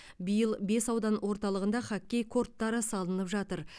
биыл бес аудан орталығында хоккей корттары салынып жатыр